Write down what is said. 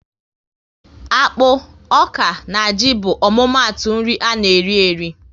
Akpụ, ọka na ji bụ omumatu nri ana eri eri